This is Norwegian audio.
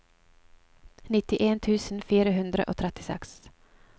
nittien tusen fire hundre og trettiseks